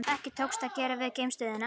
Ekki tókst að gera við geimstöðina